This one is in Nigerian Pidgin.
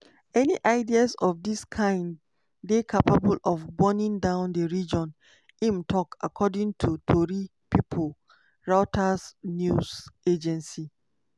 "any ideas of dis kind dey capable of burning down di region" im tok according to tori pipo reuters news agency.